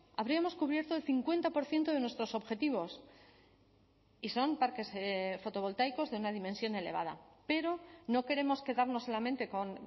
habríamos cubierto el cincuenta por ciento de nuestros objetivos y son parques fotovoltaicos de una dimensión elevada pero no queremos quedarnos solamente con